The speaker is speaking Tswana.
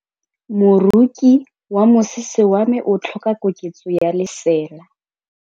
Moroki wa mosese wa me o tlhoka koketsô ya lesela.